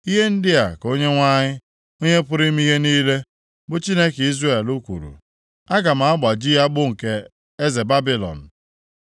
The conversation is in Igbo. “Ihe ndị a ka Onyenwe anyị, Onye pụrụ ime ihe niile, bụ Chineke Izrel kwuru, ‘Aga m agbaji agbụ nke eze Babilọn.